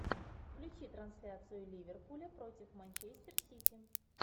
включи трансляцию ливерпуля против манчестер сити